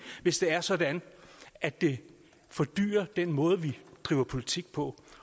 hvis det er sådan at det fordyrer den måde vi driver politik på